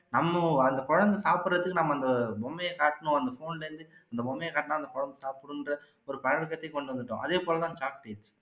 நம்ம அந்த குழந்தை சாப்புடுறதுக்கு நம்ம அந்த பொம்மையை காட்டுனோம் அந்த phone ல இருந்து அந்த பொம்மையை காட்டுனா அந்த குழந்தை சாப்புடும்ற ஒரு கொண்டு வந்துட்டோம் அதே போல தான் chocolate